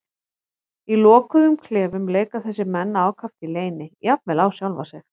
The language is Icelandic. Í lokuðum klefum leika þessir menn ákaft í leyni, jafnvel á sjálfa sig.